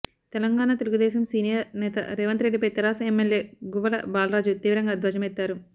Telangana Telugu Desam senior నేత రేవంత్ రెడ్డిపై తెరాస ఎమ్మెల్యే గువ్వల బాలరాజు తీవ్రంగా ధ్వజమెత్తారు